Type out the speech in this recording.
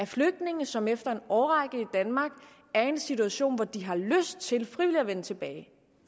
flygtninge som efter en årrække i danmark er i en situation hvor de har lyst til frivilligt at vende tilbage